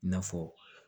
N'a fɔ